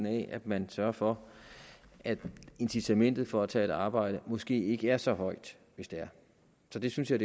af at man sørger for at incitamentet for at tage et arbejde måske ikke er så højt så det synes jeg